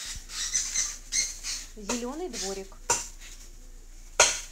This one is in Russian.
зеленый дворик